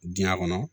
Diɲɛ kɔnɔ